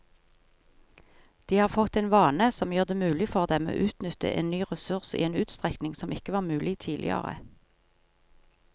De har fått en vane som gjør det mulig for dem å utnytte en ny ressurs i en utstrekning som ikke var mulig tidligere.